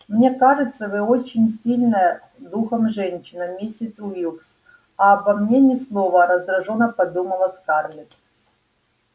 мне кажется вы очень сильная духом женщина миссис уилкс а обо мне ни слова раздражённо подумала скарлетт